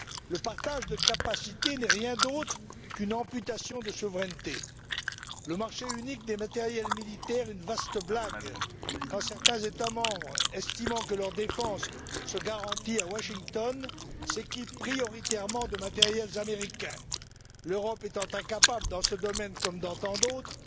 Le partage de capacités n'est rien d'autre qu'une amputation de souveraineté, le marché unique des matériels militaires une vaste blague, quand certains États membres, estimant que leur défense se garantit à Washington, s'équipent prioritairement de matériels américains, l'Europe étant incapable, dans ce domaine comme dans tant d'autres,